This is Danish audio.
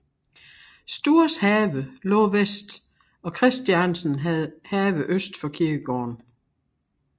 Stuhrs have lå vest og Christiansen have øst for kirkegården